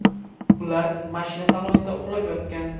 Ular mashina salonida uxlab yotgan.